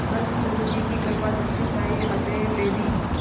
बस गुरु जी की कृपादृष्टि चाहिए अतएव यदि